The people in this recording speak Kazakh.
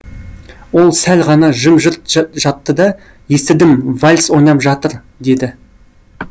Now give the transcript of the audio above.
ол сәл ғана жым жырт жатты да естідім вальс ойнап жатыр деді